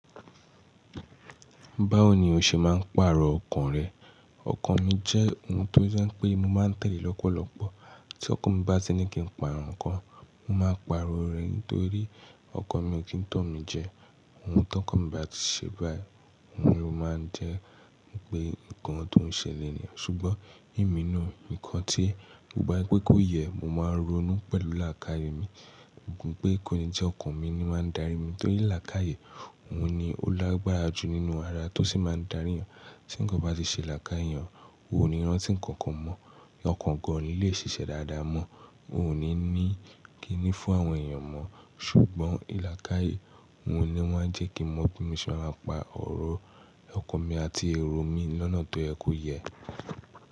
Báwo ni o ṣe máa ń pàrọ̀ ọkàn rẹ? Ọkàn mi jẹ́ ohun tó ṣé pé mo máa ń tẹ̀lé lọ́pọ̀lọ́pọ̀. Tí ọkàn mi bá ṣe ní kí n pàrọ̀ nǹkan, mo máa pàrọ̀ rẹ̀ nítorí ọkàn mi ò kí ń tọ̀ mí jẹ. Ohun tí ọkàn mi bá ṣe báyìí, òun ni ó máa ń jẹ́ ohun kan tó ń ṣẹlẹ̀ nìyẹn. Ṣùgbọ́n nínú ìkan tí gbogbo pé kó yẹ, mo máa ń ronú pẹ̀lú làákàyè mi. Gbogbo pé kíni jẹ́ ọkàn mi ni máa ń darí mi, torí làákàyè, òun ni ó lágbára jù nínú ara tó sì máa ń darí ọ̀yàn. Tí nǹkan bá ṣe làákàyè, òun ò ní rántí nǹkan kan mọ́, ọkàn gan òni lè ṣiṣẹ́ dáadáa mọ́, ò ní ní kí ni fún àwọn èèyàn mọ́. Ṣùgbọ́n làákàyè, òun ni wọ́n á ń jẹ́ kí mọ̀ bí mo ṣe máa pa ọ̀rọ̀ ọkàn mi àti èrò mi lọ́nà tó yẹ kó yẹ.